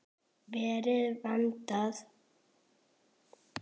Verið og verndað og vermt.